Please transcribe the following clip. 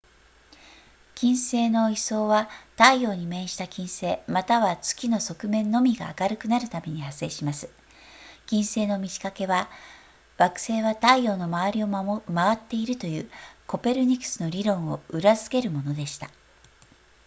金星の位相は太陽に面した金星または月の側面のみが明るくなるために発生します金星の満ち欠けは惑星は太陽の周りを回っているというコペルニクスの理論を裏付けるものでした